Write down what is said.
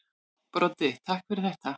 Broddi: Takk fyrir þetta.